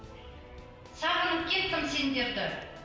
сағынып кеттім сендерді